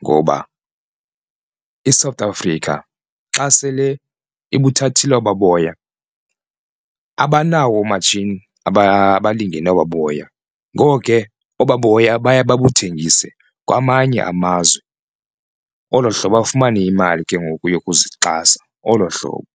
ngoba iSouth Africa xa sele ibuthathile obaa boya abanawo oomatshini abalingene obaa boya, ngoko ke obaa boya baye babuthengise kwamanye amazwe. Olo hlobo afumane imali ke ngoku yokuzixhasa, olo hlobo.